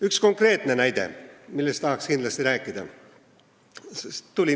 Üks konkreetne näide, millest tahaks kindlasti rääkida.